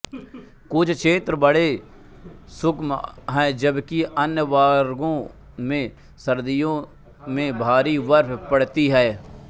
कुछ क्षेत्र बड़े शुष्क हैं जबकि अन्य भागों में सर्दियों में भारी बर्फ़ पड़ती है